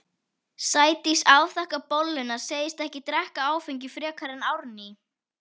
Sædís afþakkar bolluna, segist ekki drekka áfengi frekar en Árný.